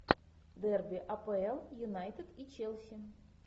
дерби апл юнайтед и челси